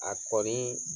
A kɔni